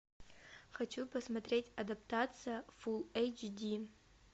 хочу посмотреть адаптация фулл эйч ди